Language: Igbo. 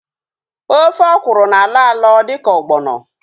Ofe ọkwụrụ na-alọ alọ dịka ọgbọnọ